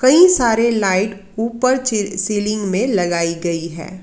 कई सारे लाइट ऊपर सीलिंग में लगाई गई है।